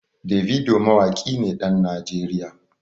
Davido mawaƙi ne ɗan Najeriya.